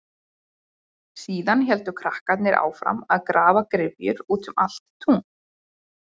Síðan héldu krakkarnir áfram að grafa gryfjur út um allt tún.